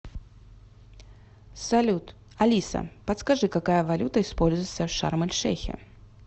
салют алиса подскажи какая валюта используется в шарм эль шейхе